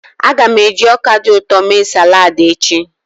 Aga m eji ọka dị ụtọ mee salad echi.